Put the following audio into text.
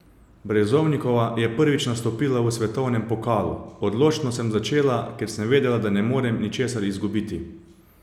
Brezovnikova je prvič nastopila v svetovnem pokalu: 'Odločno sem začela, ker sem vedela, da ne morem ničesar izgubiti.